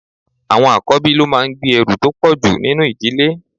Àwọn àkọ́bí ló máa ń gbé ẹrù tó pọ̀jù nínú ìdílé.